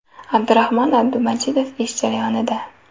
Abdurahmon Abdumajidov ish jarayonida.